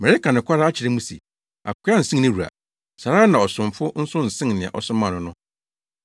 Mereka nokware akyerɛ mo se, akoa nsen ne wura; saa ara na ɔsomafo nso nsen nea ɔsomaa no no.